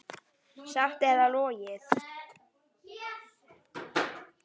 Satt eða logið.